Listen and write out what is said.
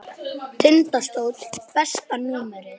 Tindastóll Besta númer?